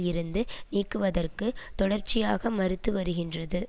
இருந்து நீக்குவதற்கு தொடர்ச்சியாக மறுத்து வருகின்றது